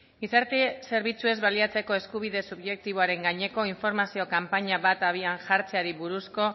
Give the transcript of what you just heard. gizarte zerbitzuez baliatzeko eskubide subjektiboaren gaineko informazio kanpaina bat abian jartzeari buruzko